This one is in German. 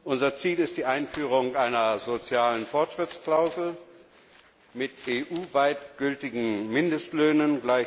Unser Ziel ist die Einführung einer sozialen Fortschrittsklausel, mit EU weit gültigen Mindestlöhnen.